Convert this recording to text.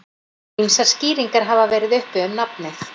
Ýmsar skýringar hafa verið uppi um nafnið.